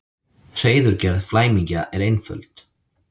Hreiðurgerð flæmingja er einföld.